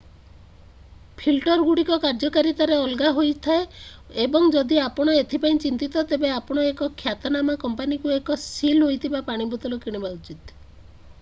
ଫିଲ୍ଟରଗୁଡ଼ିକ କାର୍ଯ୍ୟକାରିତାରେ ଅଲଗା ହୋଇଥାଏ ଏବଂ ଯଦି ଆପଣ ଏଥି ପାଇଁ ଚିନ୍ତିତ ତେବେ ଆପଣ ଏକ ଖ୍ୟାତନାମା କମ୍ପାନୀରୁ ଏକ ସିଲ୍ ହୋଇଥିବା ପାଣି ବୋତଲ କିଣିବା ଉଚିତ